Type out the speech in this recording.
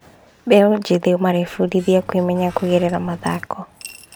Mbeũ njĩthĩ marebundithia kwĩmenya kũgerera mathako.